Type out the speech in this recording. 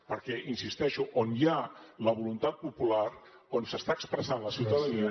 perquè hi insisteixo on hi ha la voluntat popular on s’està expressant la ciutadania